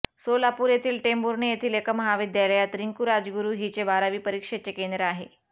सोलापूर येथील टेंभुर्णी येथील एका महाविद्यालयात रिंकू राजगुरु हिचे बारावी परक्षेचे केंद्र आहे